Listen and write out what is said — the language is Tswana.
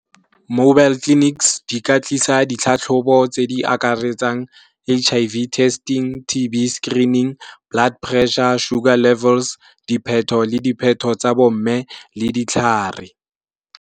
Mobile clinics di ka tlisa ditlhatlhobo tse di akaretsang H_I_V testing, T_B screening, blood pressure, sugar levels, dipheto le dipheto tsa bo mme le ditlhare.